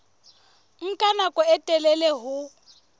nka nako e telele ho